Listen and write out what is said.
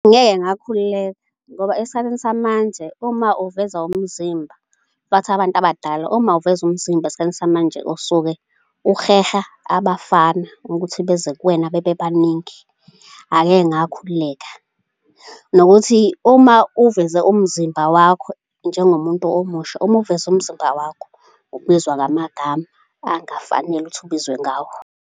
Angeke ngakhululeka ngoba esikhathini samanje uma uveza umzimba, bathi abantu abadala uma uveza umzimba esikhathini samanje osuke uheha abafana ukuthi beze kuwena bebebaningi, angeke ngakhululeleka. Nokuthi uma uveze umzimba wakho njengomuntu omusha, uma uveze umzimba wakho ubizwa ngamagama angafanele ukuthi ubizwe ngawo.